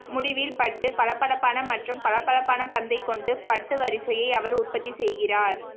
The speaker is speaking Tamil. முடிவில் பட்டுப் பளபளப்பான மற்றும் பளபளப்பான பந்தைக் கொண்டு பட்டு வரிசையை அவர் உற்பத்தி செய்கிறார்